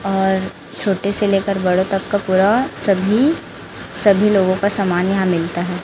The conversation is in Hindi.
और छोटे से लेकर बड़ों तक का पूरा सभी सभी लोगों का सामान यहां मिलता है।